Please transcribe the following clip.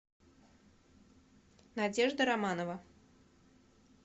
надежда романова